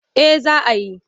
Eh za a yi.